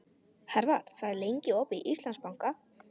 Hervar, hvað er lengi opið í Íslandsbanka?